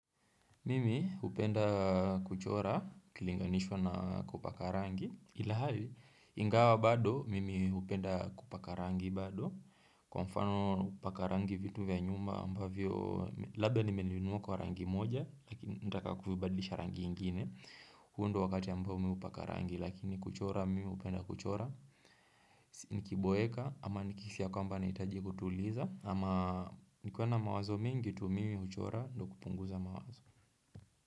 Mimi hupenda kuchora ukilinganishwa na kupaka rangi, ilhali ingawa bado mimi hupenda kupaka rangi bado Kwa mfano kupaka rangi vitu vya nyumba ambavyo labda nimenunuwa kwa rangi moja lakini nataka kuvibadlisha rangi ingine huu ndo wakati ambao mimi hupakarangi lakini kuchora mimi hupenda kuchora, nikiboeka ama nikihisi ya kwamba nahitaji kutuliza Ama nikiwa na mawazo mingi tu mimi huchora ndo kupunguza mawazo.